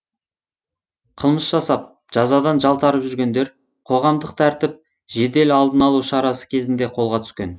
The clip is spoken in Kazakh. қылмыс жасап жазадан жалтарып жүргендер қоғамдық тәртіп жедел алдын алу шарасы кезінде қолға түскен